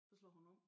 Så slår hun over